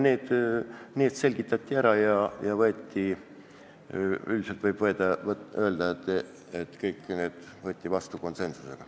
Need selgitati ära ja üldiselt võib öelda, et kõik otsused võeti vastu konsensusega.